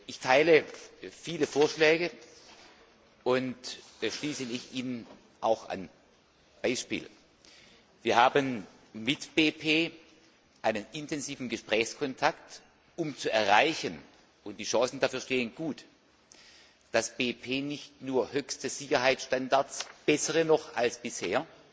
Ich teile viele Vorschläge und schließe mich ihnen auch an. Zum Beispiel Wir haben mit BP einen intensiven Gesprächskontakt, um zu erreichen und die Chancen dafür stehen gut dass BP nicht nur höchste Sicherheitsstandards, bessere noch als bisher,